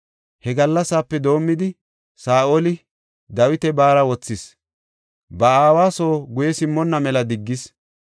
He gallasape doomidi, Saa7oli Dawita baara wothis; ba aawa soo guye simmonna mela diggis.